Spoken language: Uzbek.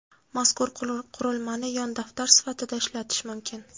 Mazkur qurilmani yon daftar sifatida ishlatish mumkin.